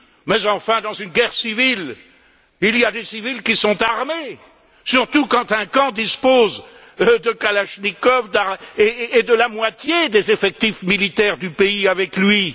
Mais enfin, dans une guerre civile, il y a des civils qui sont armés, surtout quand un camp dispose de kalachnikovs et de la moitié des effectifs militaires du pays avec lui.